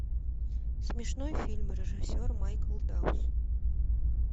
смешной фильм режиссер майкл даус